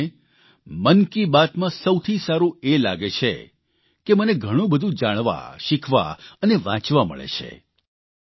પરંતુ મને મન કી બાતમાં સૌથી સારૂં એ લાગે છે કે મને ઘણું બધું જાણવા શીખવા અને વાંચવા મળે છે